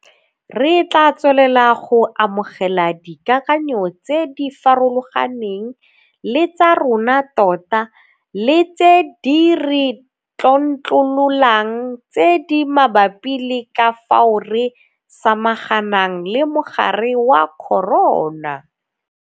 Re tla tswelela go amogela dikakanyo tse di farologaneng le tsa rona tota le tse di re tlontlololang tse di mabapi le ka fao re samaganang le mogare wa corona.